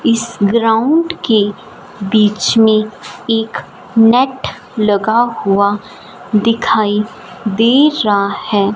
इस ग्राउंड के बीच में एक नैट लगा हुआ दिखाई दे रहा है।